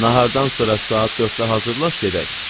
Nahardan sonra saat dörddə hazırlaş gedək.